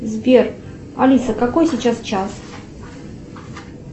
сбер алиса какой сейчас час